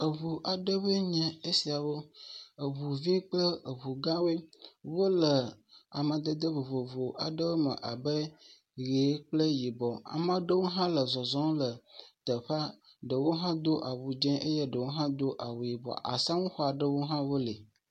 Eŋu aɖewoe nye esiawo. Eŋuvi kple eŋu gãwo. Wole amadede vovovo aɖewome abe ʋekple yibɔ. Ame aɖewo hã le zɔzɔm le teƒea. Ɖewo hã do awu dzẽ eye ɖewo hã do awu yibɔ. Asaŋu xɔ aɖewo hã wole.